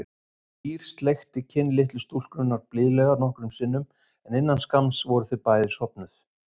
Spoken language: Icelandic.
Týri sleikti kinn litlu stúlkunnar blíðlega nokkrum sinnum en innan skamms voru þau bæði sofnuð.